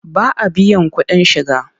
Ba a biyan kuɗin shiga.